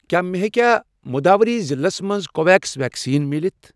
کیٛاہ مےٚ ہیٚکیا مٔدوٗرای ضلعس مَنٛز کو ویٚکسیٖن ویکسیٖن مِلِتھ؟